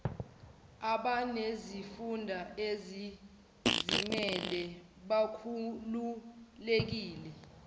abanezifunda ezizimele bakhululekile